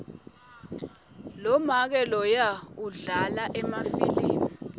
lomake loya udlala emafilimu